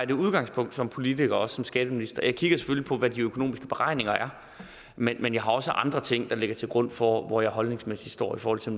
det udgangspunkt som politiker og også som skatteminister at kigger på hvad de økonomiske beregninger er men men jeg har også andre ting der ligger til grund for hvor jeg holdningsmæssigt står i forhold til